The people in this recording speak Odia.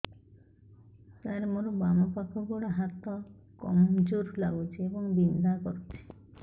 ସାର ମୋର ବାମ ପାଖ ଗୋଡ ହାତ କମଜୁର ଲାଗୁଛି ଏବଂ ବିନ୍ଧା କରୁଛି